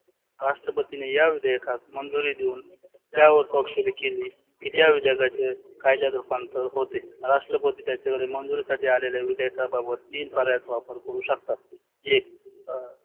राष्ट्रपतीने या विधेयकात मंजुरी देऊन त्यावर स्वाक्षरी केली की त्या विधयाकाचे कायद्यात रुपांतरीत होते. राष्ट्रपती त्याच्याकडे मंजुरी साठी आलेल्या विधेयका बाबत तीन प्रर्यायात वापर करु शकतात. एक